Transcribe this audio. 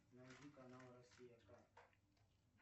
найди канал россия к